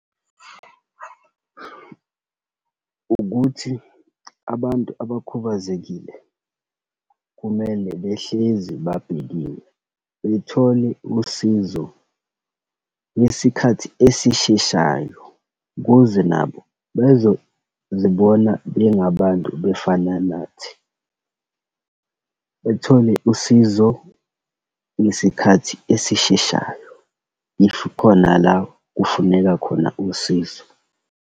Ukuthi abantu abakhubazekile, kumele behlezi babhekiwe, bethole usizo isikhathi esisheshayo, ukuze nabo bezozibona bengabantu befana nathi. Bethole usizo isikhathi esisheshayo, if khona la kufuneka khona usizo.